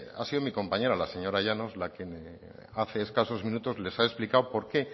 ha sido mi compañera la señora llanos la que hace escasos minutos le ha explicado por qué